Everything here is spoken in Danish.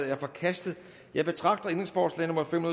er forkastet jeg betragter ændringsforslag nummer fem